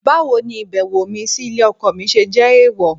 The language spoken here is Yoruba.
Báwo ni ìbẹ̀wò mi sí ilé ọkọ mi ṣe jẹ́ èèwọ̀?